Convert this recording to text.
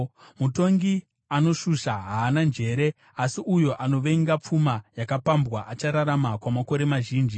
Mutongi anoshusha haana njere, asi uyo anovenga pfuma yakapambwa achararama kwamakore mazhinji.